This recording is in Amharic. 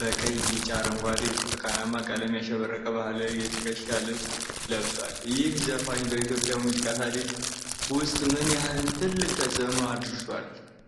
በቀይ፣ ቢጫ፣ አረንጓዴ እና ብርቱካናማ ቀለም ያሸበረቀ ባህላዊ የትከሻ ልብስ ለብሷል። ይህ ዘፋኝ በኢትዮጵያ ሙዚቃ ታሪክ ውስጥ ምን ያህል ትልቅ ተጽእኖ አሳድሯል?